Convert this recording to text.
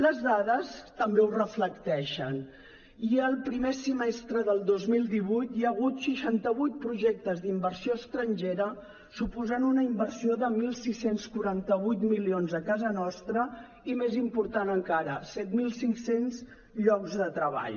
les dades també ho reflecteixen ja el primer semestre del dos mil divuit hi ha hagut seixanta vuit projectes d’inversió estrangera que suposen una inversió de setze quaranta vuit milions a casa nostra i més important encara set mil cinc cents llocs de treball